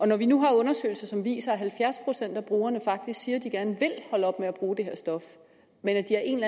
når vi nu har undersøgelser som viser at halvfjerds procent af brugerne faktisk siger at de gerne vil holde op med at bruge det her stof men at de af en